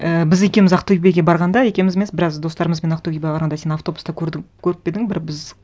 і біз екеуіміз ақтөбеге барғанда екеуіміз емес біраз достарымызбен ақтөбеге барғанда сен автобуста көріп пе едің бір біз